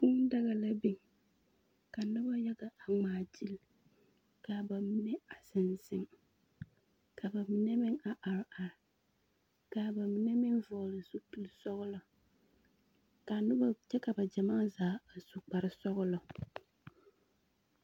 Kũũ daga la biŋ, ka noba yaya a ŋmaa gyili, ka a ba mine zeŋ zeŋ ka a ba mine meŋ a are are, ka a ba mine meŋ vɔgle zupilsɔglɔ, ka a noba kyɛ ka ba gyamaa zaa a su kparesɔglɔ.